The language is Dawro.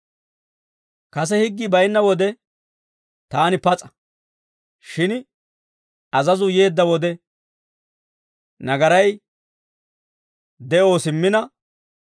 Kase higgii baynna wode taani pas'a; shin azazuu yeedda wode nagaray de'oo simmina,